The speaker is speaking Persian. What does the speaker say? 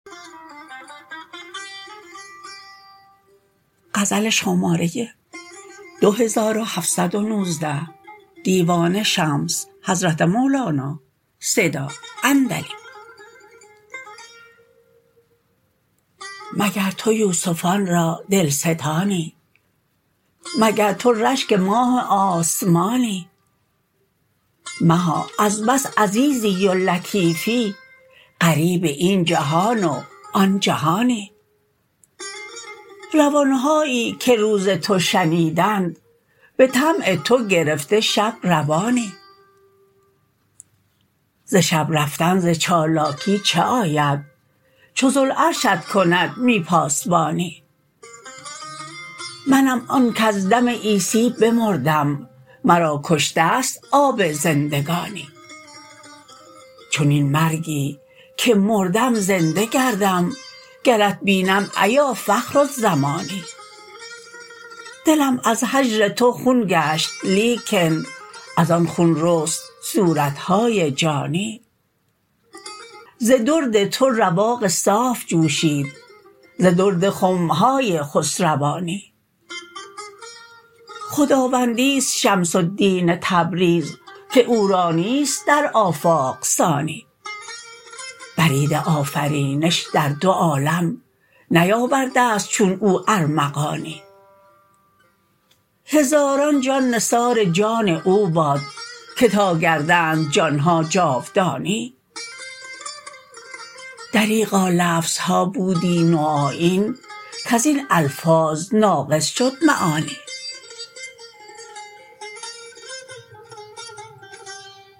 مگر تو یوسفان را دلستانی مگر تو رشک ماه آسمانی مها از بس عزیزی و لطیفی غریب این جهان و آن جهانی روان هایی که روز تو شنیدند به طمع تو گرفته شب روانی ز شب رفتن ز چالاکی چه آید چو ذوالعرشت کند می پاسبانی منم آن کز دم عیسی بمردم مرا کشته ست آب زندگانی چنین مرگی که مردم زنده گردم گرت بینم ایا فخر الزمانی دلم از هجر تو خون گشت لیکن از آن خون رست صورت های جانی ز درد تو رواق صاف جوشید ز درد خم های خسروانی خداوندی است شمس الدین تبریز که او را نیست در آفاق ثانی برید آفرینش در دو عالم نیاورده ست چون او ارمغانی هزاران جان نثار جان او باد که تا گردند جان ها جاودانی دریغا لفظ ها بودی نوآیین کز این الفاظ ناقص شد معانی